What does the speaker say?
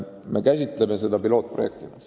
Me käsitleme seda pilootprojekti abil.